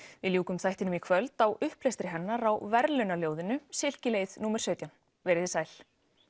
við ljúkum þættinum í kvöld á upplestri hennar á silkileið númer sautján verið þið sæl